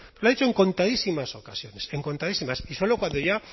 lo ha dicho en contadísimas ocasiones en contadísimas y solo cuando ya